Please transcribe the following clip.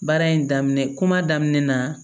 Baara in daminɛ kuma daminɛ na